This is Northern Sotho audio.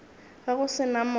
ge go se na moya